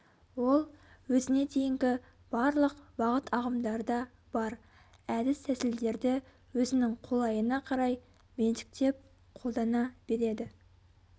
ол өзіне дейінгі барлық бағытағымдарда бар әдіс-тәсілдерді өзінің қолайына қарай меншіктеп қолдана береді